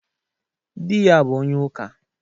Dị ya bụ onye ụka.